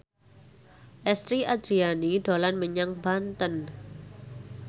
Lesti Andryani dolan menyang Banten